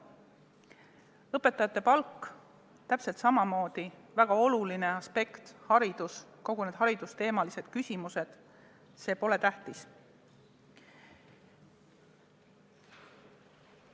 Õpetajate palk on täpselt samamoodi väga oluline, aga kõik haridusteemalised küsimused – need pole tähtsad.